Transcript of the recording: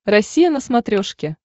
россия на смотрешке